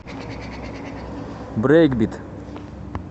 брейкбит